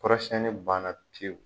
Kɔrɔsiɲɛnni banna pewu.